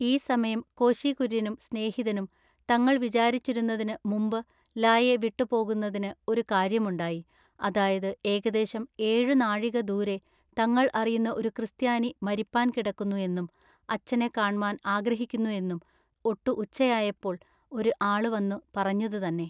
ഈ സമയം കോശി കുര്യനും സ്നേഹിതനും തങ്ങൾ വിചാരിച്ചിരുന്നതിനു മുമ്പു ല യെ വിട്ടു പോകുന്നതിനു ഒരു കാര്യമുണ്ടായി അതായതു ഏകദേശം ഏഴു നാഴിക ദൂരെ തങ്ങൾ അറിയുന്ന ഒരു ക്രിസ്ത്യാനി മരിപ്പാൻ കിടക്കുന്നു എന്നും അച്ചനെ കാണ്മാൻ ആഗ്രഹിക്കുന്നു എന്നും ഒട്ടു ഉച്ചയായപ്പോൾ ഒരു ആളു വന്നു പറഞ്ഞതു തന്നെ.